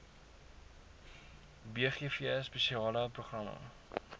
bgv spesiale programme